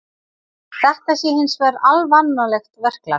Þetta sé hins vegar alvanalegt verklag